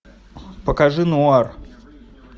покажи нуар